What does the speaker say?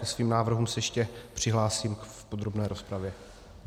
Ke svým návrhům se ještě přihlásím v podrobné rozpravě.